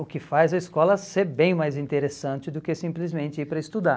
o que faz a escola ser bem mais interessante do que simplesmente ir para estudar.